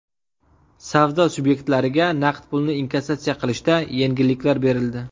Savdo subyektlariga naqd pulni inkassatsiya qilishda yengilliklar berildi.